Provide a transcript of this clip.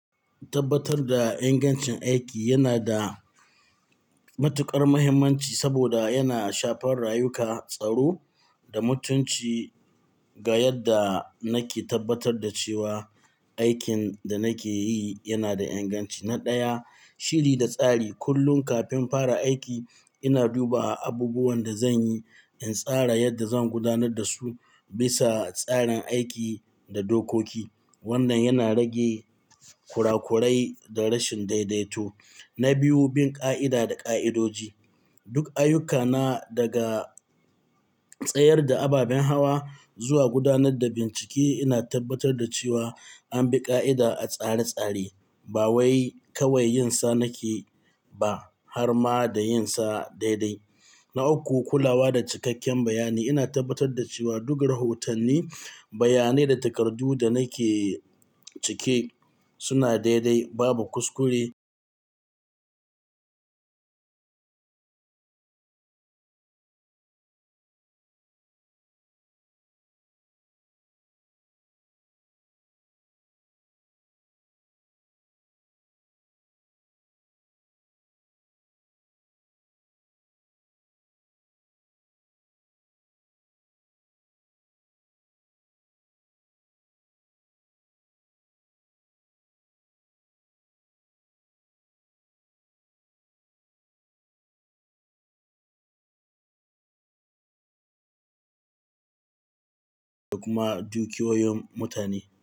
Tabbatar da ingancin aiki yana da matuƙar mahimmanci saboda yana shafar rayuka, tsaro da mutunci. Ga yadda nake tabbatar da cewa aikin da nake yi yana da inganci. Na ɗaya, shiri da tsari. Kullum kafin fara aiki, ina duba abubuwan da zan yi, in tsara yadda zan gudanar da su bisa tsarin aiki da dokoki. Wannan yana rage kurakurai da rashin daidaito. Na biyu, bin ƙa'ida da ƙa'idoji. Duk ayyukana, daga tsayar da ababen hawa zuwa gudanar da bincike, ina tabbatar da cewa an bi ƙa'ida a tsare-tsare. Ba wai kawai yin sa nake ba har ma da yin sa daidai. Na uku, kulawa da cikakken bayani. Ina tabbatar da cewa duka rahotanni, bayanai da takardu da nake cike suna daidai, babu kuskure, da kuma dukiyoyin mutane.